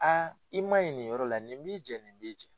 Aa i man ɲi nin yɔrɔ la nin b'i jɛ nin b'i jɛ.